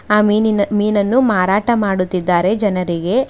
ಆ ಮೀನಿನ ಮೀನನ್ನು ಮಾರಾಟ ಮಾಡುತ್ತಿದ್ದಾರೆ ಜನರಿಗೆ.